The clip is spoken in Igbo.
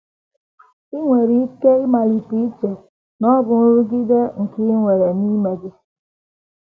I nwere ike ịmalite iche na ọ bụ nrụgide nke i nwere n’ime gị. ”